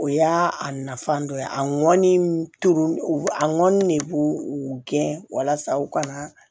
O y'a a nafan dɔ ye a ŋɔni tor'o a ŋɔni ne b'u gɛn walasa u ka na